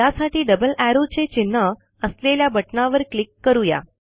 यासाठी double arrow चे चिन्ह असलेल्या बटणावर क्लिक करू या